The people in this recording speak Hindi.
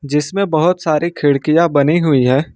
जिसमें बहुत सारी खिड़कियां बनी हुई है।